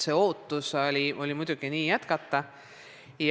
Muidugi oli ootus nii ka jätkata.